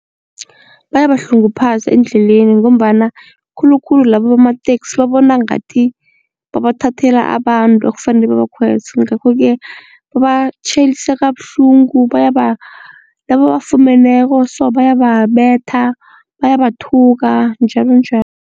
Bayabahlunguphaza endleleni ngombana khulukhulu laba bamateksi babona ngathi babathathela abantu ekufanele babakhweze ngakho-ke babatjhayelisa kabuhlungu bayaba nababafumeneko so bayababetha bayabathuka njalonjalo.